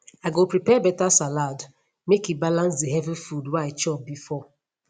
i go prepare better salad make e balance the heavy food wey i chop before